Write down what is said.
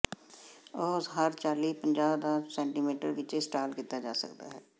ਉਹ ਹਰ ਚਾਲੀ ਪੰਜਾਹ ਦਾ ਸੈਟੀਮੀਟਰ ਵਿੱਚ ਇੰਸਟਾਲ ਕੀਤਾ ਜਾ ਸਕਦਾ ਹੈ